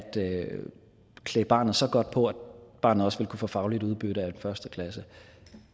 klæde barnet så godt på at barnet også vil kunne få fagligt udbytte af en første klasse